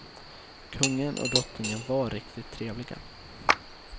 Kungen och drottningen var riktigt trevliga.